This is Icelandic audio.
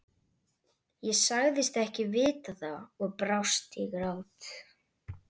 Ég sagðist ekki vita það og brast í grát.